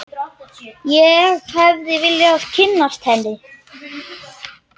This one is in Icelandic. Hvað segirðu mér af henni mömmu þinni?